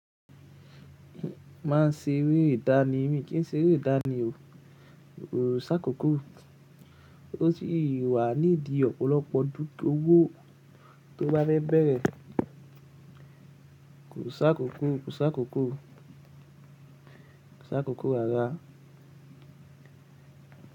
Máa n ṣe eré ìdáni mii, kí n ṣe eré ìdáni ọ̀ Kò ṣ'ákókó. Ó sì wà nídi ọ̀pọ̀lọpọ̀ owò tó bá fẹ́ẹ̀ bẹ́rẹ. Kò ṣ'ákókó, kò ṣ'ákókó, kò ṣ'ákókó rárá.